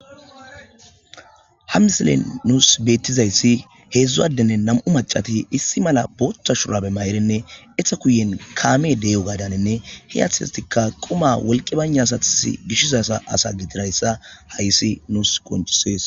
Ha misilen nuus beeththizayssi heezzu addenne nam7u maccathi issi mala booththa shurabe mayirinne etha guyye kaamee de7iyoogaadaaninne he asathikka qumaa wolqqi baynna asathissi gishiza asa gidirayssa haysi nuus qonccissees.